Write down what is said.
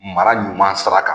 Mara ɲuman sira kan